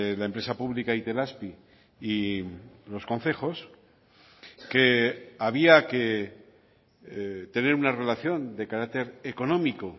la empresa pública itelazpi y los concejos que había que tener una relación de carácter económico